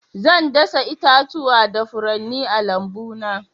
Zan dasa itatuwa da furanni a lambuna.